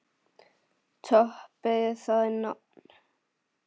Toppið það nafn!